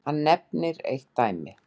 Hann nefnir eitt dæmi.